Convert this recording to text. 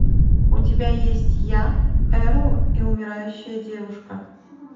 у тебя есть я эрл и умирающая девушка